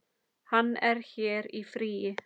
Hann er hér í fríi.